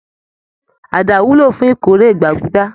Àdá wúlò fún ìkórè gbàgúdá